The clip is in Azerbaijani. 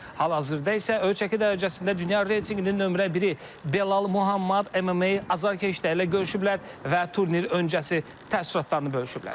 hal-hazırda isə öz çəki dərəcəsində dünya reytinqinin nömrə biri Belal Məhəmməd MMA azarkeşləri ilə görüşüblər və turnir öncəsi təəssüratlarını bölüşüblər.